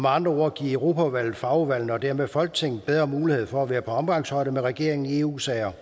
andre ord at give europaudvalget og fagudvalgene og dermed folketinget bedre mulighed for at være på omgangshøjde med regeringen i eu sager